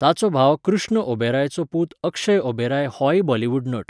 ताचो भाव कृष्ण ओबेरायचो पूत अक्षय ओबेराय होय बॉलिवूड नट.